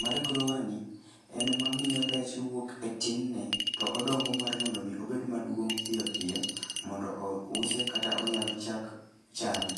mar grower ni en mamiyo rech wuok e tinne to odongo mar mondo omi obed maduong' piyo piyo mondo ouse kata onyal chak chame.